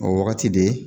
O wagati de